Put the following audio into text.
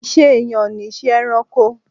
Ìṣe ẹ̀yàn ni ìṣe ẹranko.